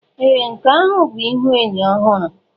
Ee! Nke ahụ bụ ihuenyo ọhụrụ.